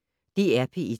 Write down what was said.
DR P1